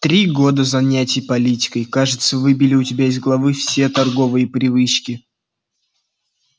три года занятий политикой кажется выбили у тебя из головы все торговые привычки